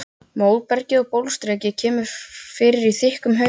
Móbergið og bólstrabergið kemur fyrir í þykkum haugum.